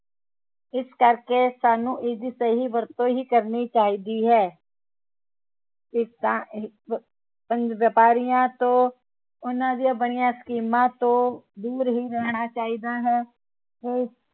ਇਸ ਕਰਕੇ ਸਾਨੂੰ ਇਸਦੀ ਸਹੀ ਵਰਤੋਂ ਹੀ ਕਰਨੀ ਚਾਹੀਦੀ ਹੈ ਵਪਾਰੀਆਂ ਤੋਂ ਉਹਨਾਂ ਦੀਆ ਬਣਿਆ ਸਕੀਮਾਂ ਤੋਂ ਦੂਰ ਹੀ ਰਹਿਣਾ ਚਾਹੀਦਾ ਹੈ